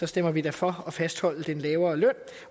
stemmer vi da for at fastholde den lavere løn